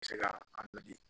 Bɛ se ka a di